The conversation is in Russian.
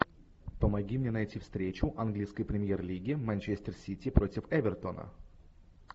помоги мне найти встречу английской премьер лиги манчестер сити против эвертона